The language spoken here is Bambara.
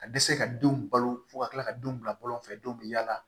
Ka dɛsɛ ka denw balo fo ka tila ka denw bila bɔlɔn fɛ denw be yaala